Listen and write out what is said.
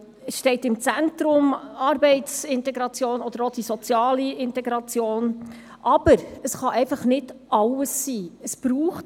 Die Arbeitsintegration oder die soziale Integration stehen im Zentrum.